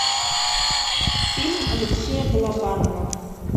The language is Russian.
фильм алексея балабанова